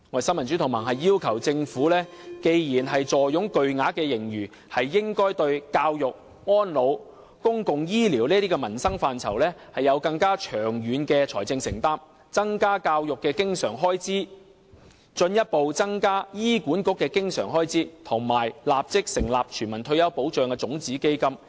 新民主同盟要求政府，既然坐擁巨額盈餘，便應該對教育、安老和公共醫療等民生範疇作出更長遠的財政承擔，增加教育的經常性開支，進一步增加醫管局的經常性開支，以及立即成立全民退休保障的種子基金。